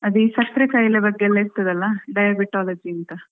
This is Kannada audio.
ಅದೇ ಸಕ್ಕ್ರೆ ಖಾಯಿಲೆ ಬಗ್ಗೆ ಇರ್ತದಲ್ವಾ diabetology ಅಂತ .